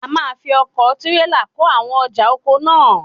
A máa fi ọkọ̀ tírélà kó àwọn ọjà oko náà náà.